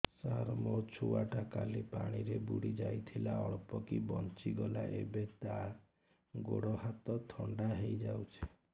ସାର ମୋ ଛୁଆ ଟା କାଲି ପାଣି ରେ ବୁଡି ଯାଇଥିଲା ଅଳ୍ପ କି ବଞ୍ଚି ଗଲା ଏବେ ତା ଗୋଡ଼ ହାତ ଥଣ୍ଡା ହେଇଯାଉଛି